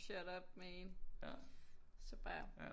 Shut up man så bare